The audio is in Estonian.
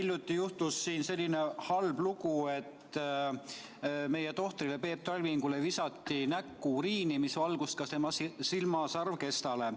Hiljuti juhtus selline halb lugu, et meie tohtrile Peep Talvingule visati näkku uriini, mis valgus ka tema silma sarvkestale.